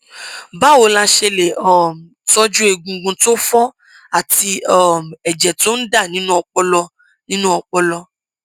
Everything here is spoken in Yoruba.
báwo la ṣe lè um tọjú egungun tó fọ àti um ẹjẹ tó ń dà nínú ọpọlọ nínú ọpọlọ